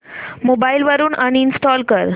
mobile वरून uninstall कर